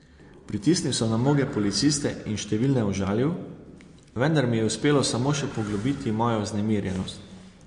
Pritisnil sem na mnoge policiste in številne užalil, vendar mi je uspelo samo še poglobiti mojo vznemirjenost.